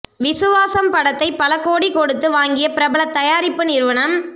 விசுவாசம் படத்தை பல கோடி கொடுத்து வாங்கிய பிரபல தயாரிப்பு நிறுவனம்